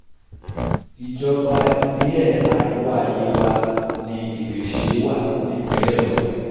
ìjọba ìbílẹ̀ àríwá yewa ni ìbéṣẹ́ wà nípìnlẹ̀ ogun